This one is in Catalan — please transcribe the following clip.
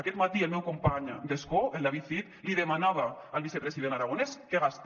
aquest matí el meu company d’escó el david cid li demanava al vicepresident aragonès que gasti